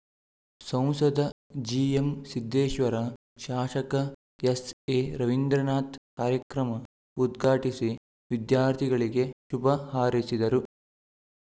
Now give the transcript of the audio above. ಸಂಸದ ಜಿಎಂಸಿದ್ದೇಶ್ವರ ಶಾಸಕ ಎಸ್‌ಎರವೀಂದ್ರನಾಥ್ ಕಾರ್ಯಕ್ರಮ ಉದ್ಘಾಟಿಸಿ ವಿದ್ಯಾರ್ಥಿಗಳಿಗೆ ಶುಭ ಹಾರೈಸಿದರು